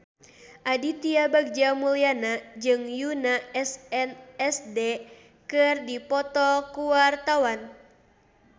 Aditya Bagja Mulyana jeung Yoona SNSD keur dipoto ku wartawan